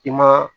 I ma